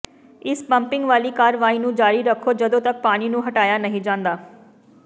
ਇਸ ਪੰਪਿੰਗ ਵਾਲੀ ਕਾਰਵਾਈ ਨੂੰ ਜਾਰੀ ਰੱਖੋ ਜਦੋਂ ਤੱਕ ਪਾਣੀ ਨੂੰ ਹਟਾਇਆ ਨਹੀਂ ਜਾਂਦਾ